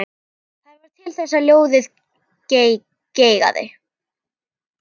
Það varð til þess að lóðið geigaði.